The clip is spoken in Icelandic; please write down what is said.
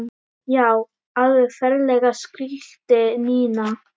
Já, alveg ferlega skríkti Nína.